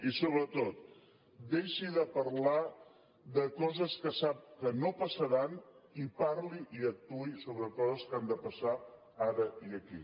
i sobretot deixi de parlar de coses que sap que no passaran i parli i actuï sobre coses que han de passar ara i aquí